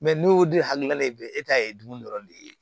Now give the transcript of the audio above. n'o de hakilina ye bɛɛ e ta ye dun dɔrɔn de ye